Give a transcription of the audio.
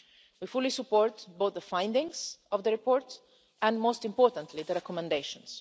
We fully support both the findings of the report and, most importantly, the recommendations.